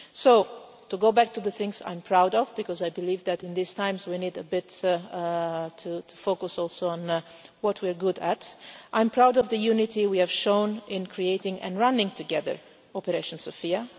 So to go back to the things I'm proud of, because I believe that in these times we need a bit to focus also on what we're good at I'm proud of the unity we have shown in creating and running together Operation Sophia.